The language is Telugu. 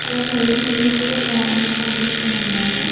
అలానే ఏ.టీ.ఎం లో కూడా ఒక మనిషి కనిపిస్తూ ఉన్నాడు